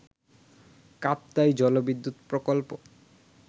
কাপ্তাই জলবিদ্যুৎ প্রকল্প